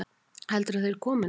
Heldurðu að þeir komi nokkuð?